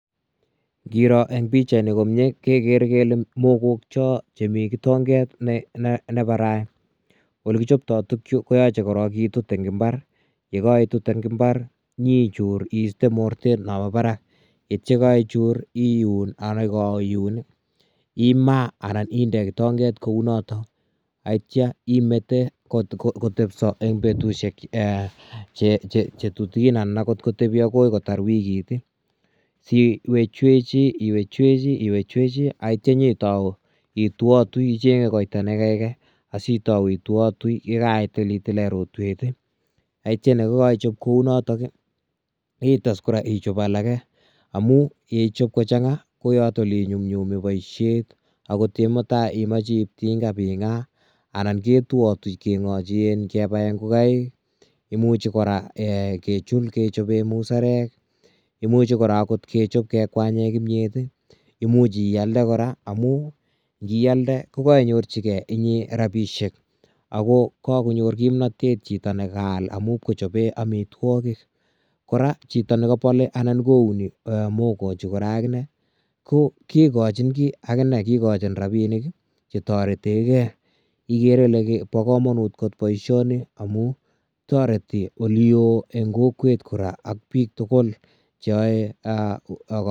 Kiror en pichait nii komyei kegere kele mogook choon chemii kitongeet ne barai, ole kipchaptai tuguk chuu koyachei korong kitut eng mbaar ye kaitit eng mbar ,inyei ijuur iistee mortet mambo Barak yeityaa kaichuut iuun ako ye kaiyuun imaah anan indee kitongeet kou notoon ak yeityaa imete kotepsaa eng betusiek che tutukiin anaan kotebii akoot kotaar wikiit ii siweeech chweji ak yeityaa inye Tau ituatui sitau ye kaitilatileen rotweet ii ak yeityaa ye kaipchaap kou notoon itesskora ichaap alake amuun yeichaap kochangaa ko yotoon ole nyumnyumi boisiet ak yeityaa oot en mutai imache ii kobaa tinga imachei ibai maa ngaaa anan ketuatui kebaen ingongaik ii imuuch kora kechiil kechapeen musarek ii imuuch kora kechaap kekwanyeen pnyeet ii ,imuuch iyalde kora amuun ingiyalde ko koinyorjigei rapisheek ako kakonyoor kimnatet chitoo ne kayaal amuun amitwagiik, kora chitoo nekabale anan kounii mogook chuu kora aginei ko kigachiin kiy aginde kigochiin rapinik che tareteen gei igere Ile bo kamanut koot missing boisioni amuun taretii ole wooh en kokwet kora ak biik tuguul che yae.